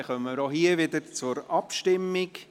Somit kommen wir zur Abstimmung.